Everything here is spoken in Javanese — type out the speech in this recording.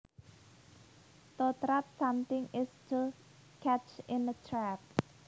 To trap something is to catch in a trap